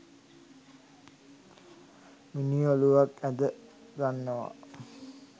මිනී ඔළුවක් ඇඳ ගන්නවා